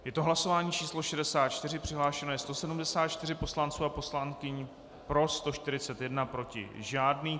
Je to hlasování číslo 64, přihlášeno je 174 poslanců a poslankyň, pro 141, proti žádný.